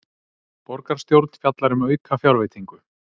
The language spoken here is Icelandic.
Borgarstjórn fjallar um aukafjárveitingu